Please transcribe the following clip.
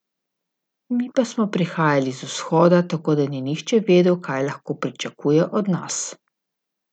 Mi pa smo prihajali iz vzhoda, tako da ni nihče vedel, kaj lahko pričakuje od nas.